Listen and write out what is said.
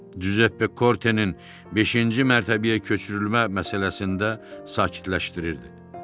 Cüzeppe Kortenin beşinci mərtəbəyə köçürülmə məsələsində sakitləşdirirdi.